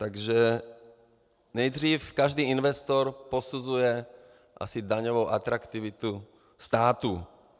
Takže nejdřív každý investor posuzuje asi daňovou atraktivitu státu.